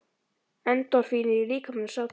Endorfínið í líkamanum sá til þess.